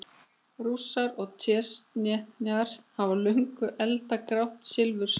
Rússar og Tsjetsjenar hafa löngum eldað grátt silfur saman.